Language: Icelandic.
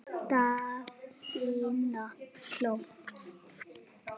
Daðína hló.